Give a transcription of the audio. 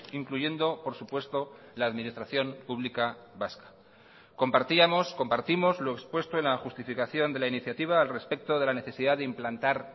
incluyendo por supuesto la administración pública vasca compartíamos compartimos lo expuesto en la justificación de la iniciativa al respecto de la necesidad de implantar